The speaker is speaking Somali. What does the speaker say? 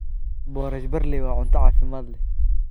Boorash barley waa cunto caafimaad leh.